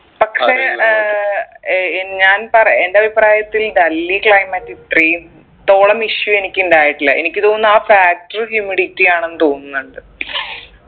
പക്ഷെ ഏർ ഏർ ഞാൻ പറ എൻ്റെ അഭിപ്രായത്തിൽ ഡൽഹി climate ഇത്രേം ത്തോളം issue എനിക്ക് ഇണ്ടായിട്ടില്ല എനിക്ക് തോന്നുന്നു ആ factor humidity ആണെന്ന് തോന്നുന്നുണ്ട്